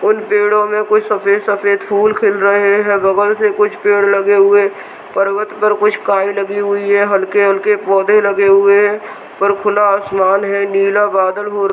उन पेड़ों में कुछ सफेद-सफेद फुल खिले रहे हैं बगल से कुछ पेड़ लगे हुए पर्वत पर कुछ काय लगी हुई है हलके-हलके पौधे लगे हुए हैं ऊपर खुला आसमान है नीला बादल हो --